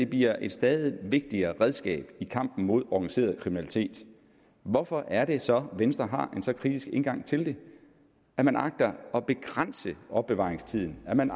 bliver et stadig vigtigere redskab i kampen mod organiseret kriminalitet hvorfor er det så at venstre har en så kritisk indgang til det at man agter at begrænse opbevaringstiden at man